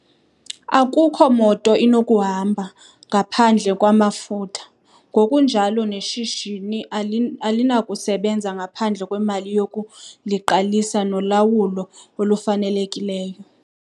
Akukho moto inokuhamba ngaphandle kwamafutha, ngokunjalo neshishini alinakusebenza ngaphandle kwemali yokuliqalisa nolawulo olufanelekileyo.